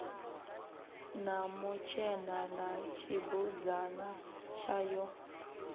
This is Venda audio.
na mutshena na tshibudzana tshayo